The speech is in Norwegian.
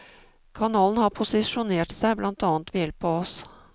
Kanalen har posisjonert seg blant annet ved hjelp av oss.